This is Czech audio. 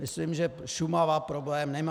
Myslím, že Šumava problém nemá.